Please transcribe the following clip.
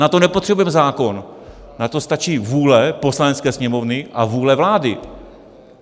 Na to nepotřebujeme zákon, na to stačí vůle Poslanecké sněmovny a vůle vlády.